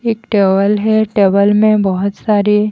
एक टेवल है टेबल में बहुत सारी--